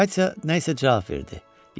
Katya nə isə cavab verdi.